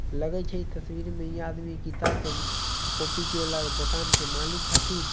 लगाई छ तस्वीर मे ये आदमी किताब के कॉपी के दुकान के मालिक खातिन--